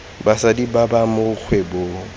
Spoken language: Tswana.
basadi ba ba mo kgwebong